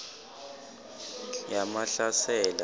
yamahlasela